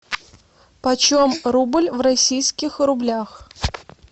почем рубль в российских рублях